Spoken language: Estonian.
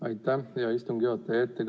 Aitäh, hea istungi juhataja!